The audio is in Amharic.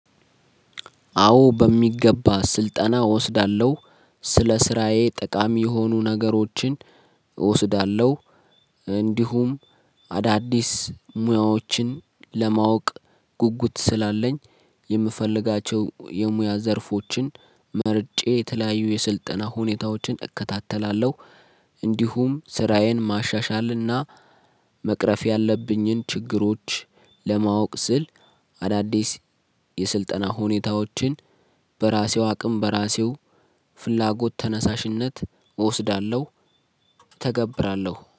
አዎ በሚገባ ስልጠና እወስዳለሁ። ስለ ስራዬ ጠቃሚ የሆኑ ነገሮችን እወስዳለሁ እንዲሁም አዳዲስ ሙያዎችን ለማወቅ ጉጉት ስላለኝ የምፈልጋቸው የሙያ ዘርፎችን መርጬ የተለያዩ የስልጠና ሁኔታዎችን እከታተላለሁ። እንዲሁም ስራዬን ማሻሻልና መቅረፍ ያለብኝን ችግሮች ለማወቅ ስል አዳዲስ የስልጠና ሁኔታዎችን በራሴው አቅም በራሴው ፍላጎት ተነሳሽነት እወስዳለሁ እተገብራለሁ